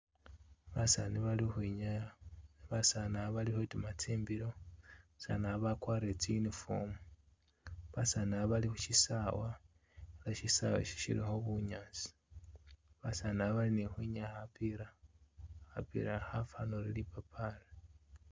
Basasni bali ukhwinyaya, basaani aba bali khutiima tsimbilo, basaani aba bakwarire tsi uniform, basaani aba bali khusisaawa she bunyaasi, basaani aba bali khukhwinyaya khapiila, khapiila akha khafana uri lipapaali.